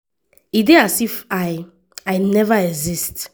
e dey as if i i never exist.”